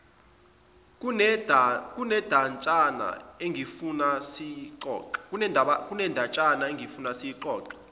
kunendatshana engifuna siyixoxe